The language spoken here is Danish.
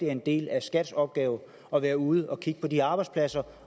en del af skats opgave at være ude og kigge på de arbejdspladser